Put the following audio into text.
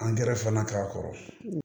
Angɛrɛ fana k'a kɔrɔ